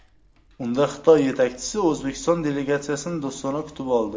Unda Xitoy yetakchisi O‘zbekiston delegatsiyasini do‘stona kutib oldi.